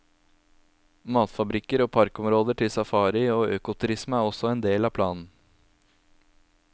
Matfabrikker og parkområder til safari og økoturisme er også en del av planen.